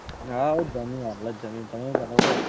હવ જમ્યું અવળે જ જમ્યું તમે તમે કહો?